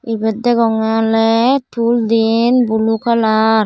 ibet degonge ole tool din blue kalar .